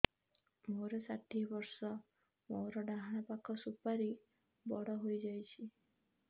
ମୋର ଷାଠିଏ ବର୍ଷ ମୋର ଡାହାଣ ପାଖ ସୁପାରୀ ବଡ ହୈ ଯାଇଛ